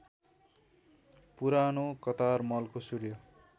पुरानो कतारमलको सूर्य